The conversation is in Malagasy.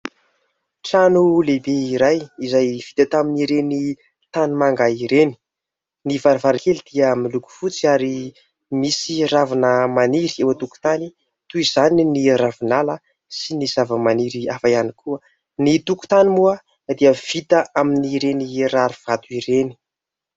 Trano lehibe iray izay vita tamin'ireny tanimanga ireny. Ny varavarankely dia miloko fotsy ary misy ravina maniry eo an-tokontany ; toy izany ny ravinala sy ny zava-maniry hafa ihany koa, ny tokotany moa dia vita amin'ireny rarivato ireny.